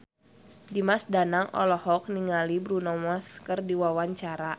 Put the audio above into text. Dimas Danang olohok ningali Bruno Mars keur diwawancara